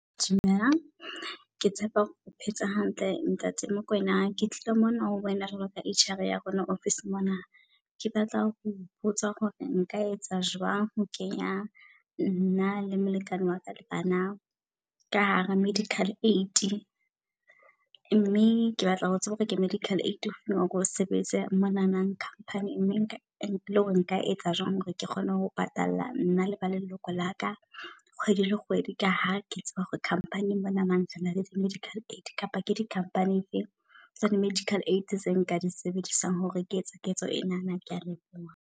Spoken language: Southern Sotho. Dumelang ke tshepa hore o phetse hantle ntate Mokoena. Ke tlile mona ho wena jwalo ka H_R ya rona office-eng mona. Ke batla ho botsa hore nka etsa jwang ho kenya nna le molekane waka, le bana ka hara medical aid. Mme ke batla ho tseba hore ke medical aid ofeng o re o sebedisang monanang company-ing. Mme nka le hore nka etsa jwang hore ke kgone ho patalla nna le ba leloko la ka kgwedi le kgwedi. Ka ha ke tseba hore company-ing monana rena le di medical aid. Kapa ke di company e fe tsa di-medical aid tse nka di sebedisang hore ke etse ketso enana. Kea leboha.